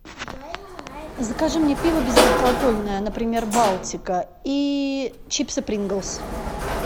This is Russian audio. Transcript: закажи мне пиво безалкогольное например балтика и чипсы принглс